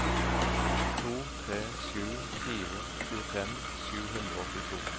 to tre sju fire tjuefem sju hundre og åttito